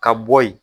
Ka bɔ yen